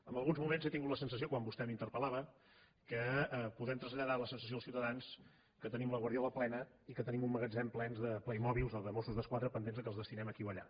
en alguns moments he tingut la sensació quan vostè m’interpel·ciutadans que tenim la guardiola plena i que tenim un magatzem ple de playmobils o de mossos d’esquadra pendents que els destinem aquí o allà